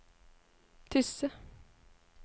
Tysse